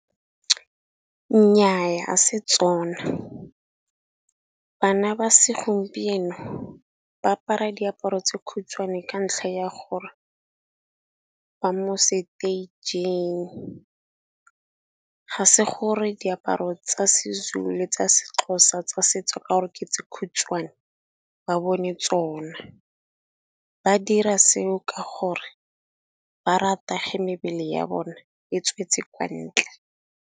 Nnyaa 'a se tsona. Bana ba segompieno ba apara diaparo tse kgutshwane ka ntlha ya gore, ba mo stage-ing ga se gore diaparo tsa Sezulu, le tsa Sexhosa tsa setso ka ore ke tse kgutshwane ba bone tsona, ba dira seo ka gore ba rata ge mebele ya bone e tswetse ka ntle.